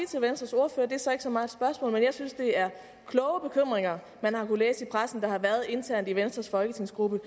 til venstres ordfører det er så ikke så meget et spørgsmål at jeg synes at det er kloge bekymringer man har kunnet læse om i pressen der har været internt i venstres folketingsgruppe